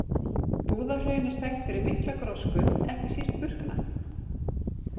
Búðahraun er þekkt fyrir mikla grósku, ekki síst burkna.